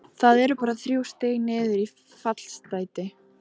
Það eru bara þrjú stig niður í fallsæti.